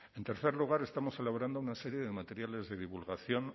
en tercer lugar estamos celebrando una serie de materiales de divulgación